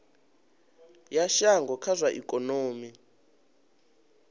ya shango kha zwa ikonomi